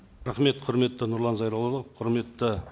рахмет құрметті нұрлан зайроллаұлы құрметті